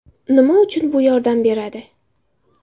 Nima uchun bu yordam beradi?